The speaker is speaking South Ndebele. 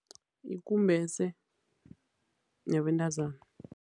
Yikumbese yabentazana.